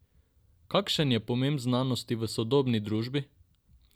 Kakšen je pomen znanosti v sodobni družbi?